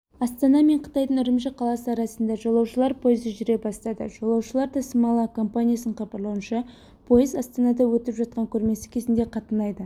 астана мен қытайдың үрімжі қаласы арасында жолаушылар пойызы жүре бастады жолаушылар тасымалы компаниясының хабарлауынша пойыз астанада өтіп жатқан көрмесі кезінде қатынайды